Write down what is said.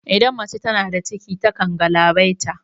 Idan mace tana da ciki ta kan galabaita